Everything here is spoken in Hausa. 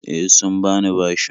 E, sun bani bashin.